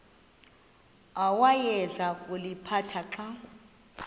awayeza kuliphatha xa